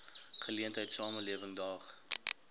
geleentheid samelewing daag